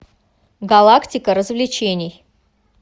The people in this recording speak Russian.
галактика развлечений